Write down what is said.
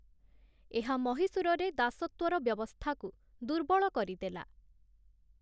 ଏହା ମହୀଶୂରରେ ଦାସତ୍ୱର ବ୍ୟବସ୍ଥାକୁ ଦୁର୍ବଳ କରିଦେଲା ।